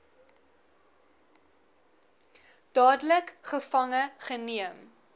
dadelik gevange geneem